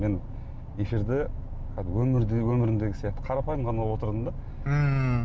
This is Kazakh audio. мен эфирде кәдімгі өмірімдегі сияқты қарапайым ғана отырдым да ммм